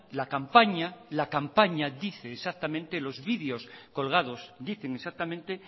la campaña la campaña dice exactamente los videos colgados dicen exactamente